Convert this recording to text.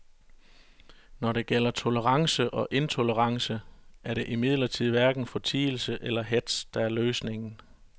Når det gælder tolerance og intolerance er det imidlertid hverken fortielse eller hetz, der er løsningen.